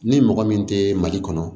Ni mɔgɔ min tɛ mali kɔnɔ